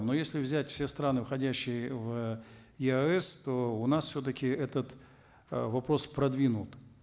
но если взять все страны входящие в еаэс то у нас все таки этот э вопрос продвинут